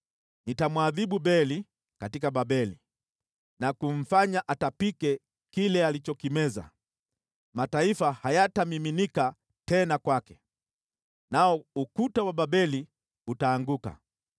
Nitamwadhibu Beli katika Babeli, na kumfanya atapike kile alichokimeza. Mataifa hayatamiminika tena kwake. Nao ukuta wa Babeli utaanguka.